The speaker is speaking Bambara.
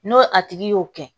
N'o a tigi y'o kɛ